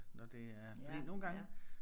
Når det er fordi nogle gange